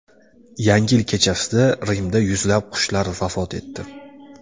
Yangi yil kechasida Rimda yuzlab qushlar vafot etdi.